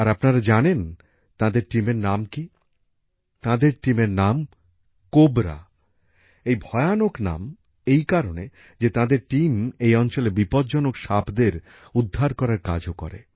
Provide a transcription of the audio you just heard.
আর আপনারা জানেন তাঁদের দলের নাম কী তাঁদের দলের নাম কোবরা এই ভয়ানক নাম এই কারণে যে তাঁদের দল এই অঞ্চলে বিপজ্জনক সাপদের উদ্ধার করার কাজও করে